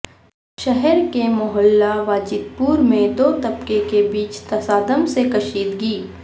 شہر کے محلہ واجد پورمیں دو طبقہ کے بیچ تصادم سے کشیدگی